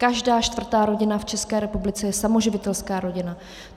Každá čtvrtá rodina v České republice je samoživitelská rodina.